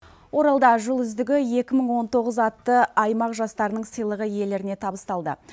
оралда жыл үздігі атты аймақ жастарының сыйлығы иелеріне табысталды